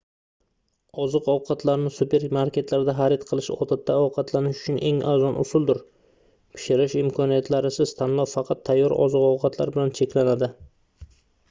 oziq-ovqatlarni supermarketlarda xariq qilish odatda ovqatlanish uchun eng arzon usuldir pishirish imkoniyatlarisiz tanlov faqat tayyor oziq-ovqatlar bilan cheklanadi